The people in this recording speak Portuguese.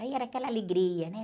Aí era aquela alegria, né?